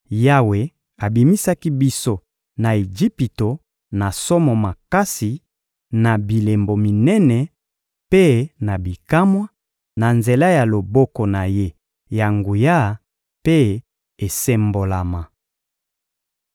Yawe abimisaki biso na Ejipito na somo makasi, na bilembo minene mpe na bikamwa, na nzela ya loboko na Ye ya nguya mpe esembolama.